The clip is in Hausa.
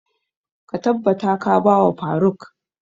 Ka tabbata ka ba wa faruk!